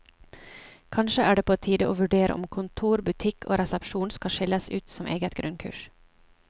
Kanskje er det på tide å vurdere om kontor, butikk og resepsjon skal skilles ut som eget grunnkurs.